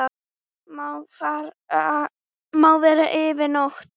Má vera yfir nótt.